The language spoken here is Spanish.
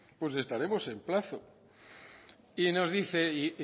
pues estaremos en plazo y nos dice